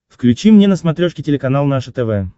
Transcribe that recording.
включи мне на смотрешке телеканал наше тв